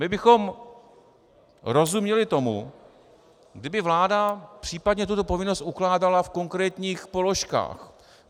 My bychom rozuměli tomu, kdyby vláda případně tuto povinnost ukládala v konkrétních položkách.